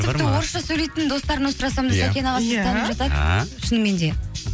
тіпті орысша сөйлейтін достарымнан сұрасам да сәкен аға сізді танып жатады а шынымен де